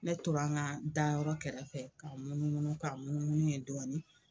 Ne tora ŋa dayɔrɔ kɛrɛfɛ ka munumunu ka munumunu ye dɔɔnin